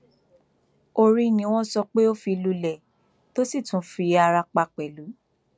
orí ni wọn sọ pé ó fi lulẹ tó sì tún fi ara pa pẹlú